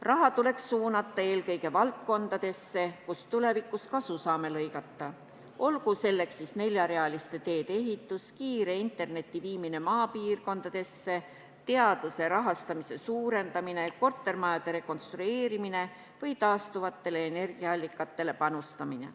Raha tuleks suunata eelkõige valdkondadesse, kus tulevikus kasu saame lõigata, olgu selleks neljarealiste teede ehitus, kiire interneti viimine maapiirkondadesse, teaduse rahastamise suurendamine, kortermajade rekonstrueerimine või taastuvatele energiaallikatele panustamine.